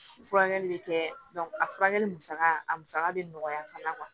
Furakɛli bɛ kɛ a furakɛli musaka a musaka bɛ nɔgɔya fana